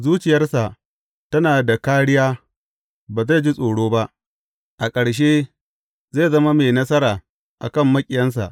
Zuciyarsa tana da kāriya, ba zai ji tsoro ba; a ƙarshe zai zama mai nasara a kan maƙiyansa.